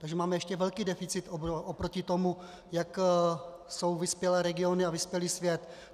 Takže máme ještě velký deficit oproti tomu, jak jsou vyspělé regiony a vyspělý svět.